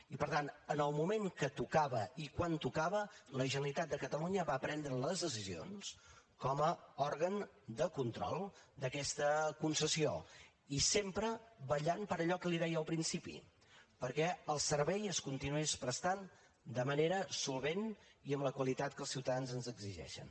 i per tant en el moment que tocava i quan tocava la generalitat de catalunya va prendre les decisions com a òrgan de control d’aquesta concessió i sempre vetllant per allò que li deia al principi perquè el servei es continués prestant de manera solvent i amb la qualitat que els ciutadans ens exigeixen